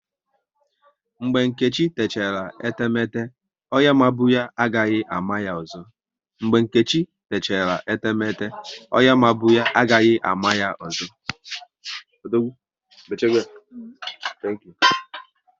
Mgbe Nkechi techara etemete, onye mabu ya, agaghị ama ya ọzọ